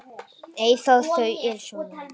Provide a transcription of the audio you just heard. Eyþór: Þau eru svo mörg.